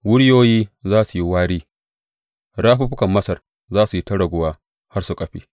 Wuriyoyi za su yi wari; rafuffukan Masar za su yi ta raguwa har su ƙafe.